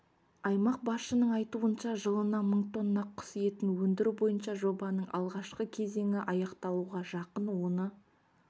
аймақ басшының айтуынша жылына мың тонна құс етін өндіру бойынша жобаның алғашқы кезеңі аяқталуға жақын оны